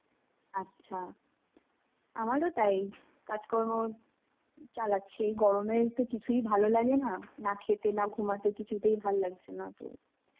আচ্ছা. আমারও তাই. কাজকর্ম চালাচ্ছি. এই গরমে তো কিছুই ভালোলাগেনা. না খেতে না ঘুমাতে কিছুতেই ভাল্লাগছেনা তো.